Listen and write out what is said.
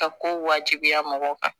Ka ko wajibiya mɔgɔw kan